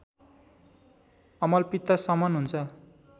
अमलपित्त समन हुन्छ